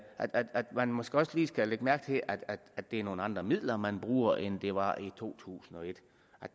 at man måske også lige skal lægge mærke til at at det er nogle andre midler man bruger end det var i to tusind og et